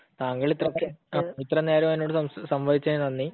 താങ്കൾ ഇത്രയും നേരം എന്നോട് സംവദിച്ചതിന് നന്ദി.